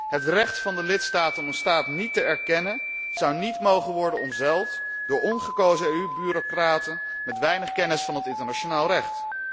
Het recht van de lidstaten om een staat niet te erkennen, zou niet mogen worden omzeild door ongekozen EU bureaucraten met weinig kennis van het internationaal recht.